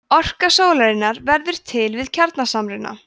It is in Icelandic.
orka sólarinnar verður til við kjarnasamruna